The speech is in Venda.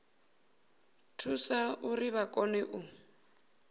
thusa uri vha kone u